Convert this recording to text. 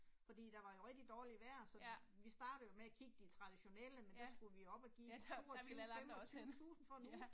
Fordi der var jo rigtig dårligt vejr, så vi startede jo med at kigge de traditionelle, men der skulle vi op og give 22 25000 for en uge